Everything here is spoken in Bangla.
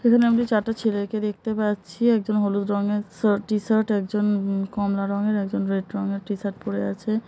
এখানে চার টি ছেলে কে দেখতে পাচ্ছি একজন হলুদ রঙের শার্ট টি-শার্ট একজন কমলা রঙের একজন রেড রংয়ের টি-শার্ট পড়ে আছে ।